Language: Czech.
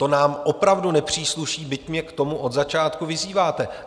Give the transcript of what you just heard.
To nám opravdu nepřísluší, byť mě k tomu od začátku vyzýváte.